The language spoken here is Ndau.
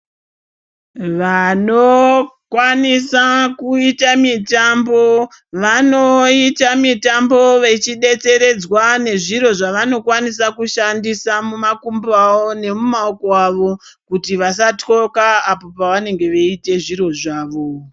Vanokwanisa kuita mitambo vanoita mitambo vechidetseredzwa nezviro zvavanokwanisa kushandisa mumakumbo awo nemumaoko awo kuti vasatyoka apo pavanenge veiite zviro zvavo.